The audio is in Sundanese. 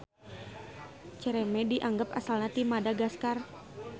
Cereme dianggab asalna ti Madagaskar.